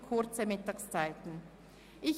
Die Mittagspausen sind immer nur kurz.